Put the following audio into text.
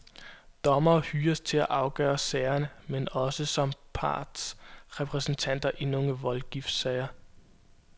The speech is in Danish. Dommere hyres til at afgøre sagerne, men også som partsrepræsentanter i nogle voldgiftssager.